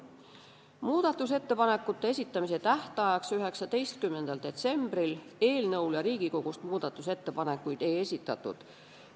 Muudatusettepanekute esitamise tähtajaks,19. detsembriks eelnõu kohta Riigikogust muudatusettepanekuid ei esitatud.